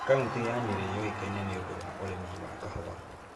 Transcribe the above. Kaũntĩ ya Nyeri yũĩkaine nĩ ũndũ wa ũrĩmi wa kahũa.